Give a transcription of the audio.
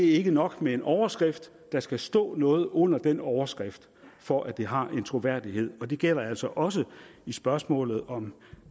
ikke nok med en overskrift der skal stå noget under den overskrift for at det har en troværdighed og det gælder altså også i spørgsmålet om